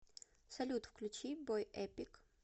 салют включи бой эпик